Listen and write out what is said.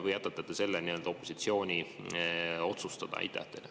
Või jätate te selle nii-öelda opositsiooni otsustada?